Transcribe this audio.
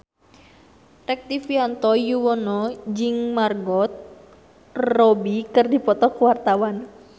Rektivianto Yoewono jeung Margot Robbie keur dipoto ku wartawan